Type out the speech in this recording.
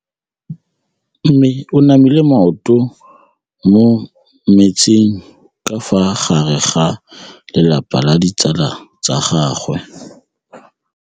Mme o namile maoto mo mmetseng ka fa gare ga lelapa le ditsala tsa gagwe.